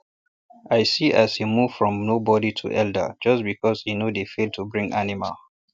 i see as e move from nobody to elder just because e no dey fail to bring animal